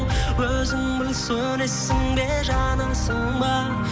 өзің біл сөнесің бе жанасың ба